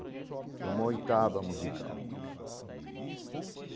É uma oitava musical.